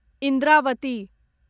Indravati